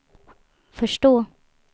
förstå